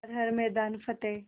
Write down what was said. कर हर मैदान फ़तेह